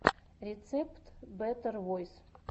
рецепт бэтэр войс